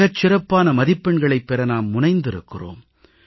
மிகச்சிறப்பான மதிப்பெண்களைப் பெற நாம் முனைந்திருக்கிறொம்